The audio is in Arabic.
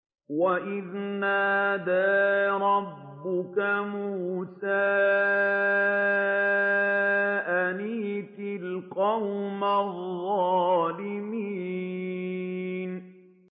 وَإِذْ نَادَىٰ رَبُّكَ مُوسَىٰ أَنِ ائْتِ الْقَوْمَ الظَّالِمِينَ